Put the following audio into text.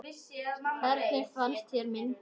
Hvernig fannst þér myndin?